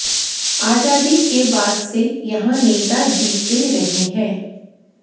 आजादी के बाद से यहां नेता जीतेते रहे हैं